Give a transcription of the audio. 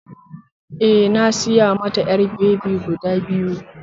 Eh, na saya mata ƴar babi guda biyu